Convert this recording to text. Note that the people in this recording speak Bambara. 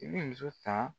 I bɛ muso ta